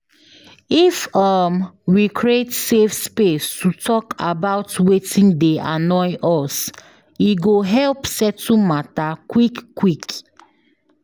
If um we create safe space to talk about wetin dey annoy us, e go help settle matter quick quick.